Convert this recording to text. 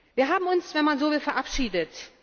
Wir haben uns, wenn man so will, verabschiedet.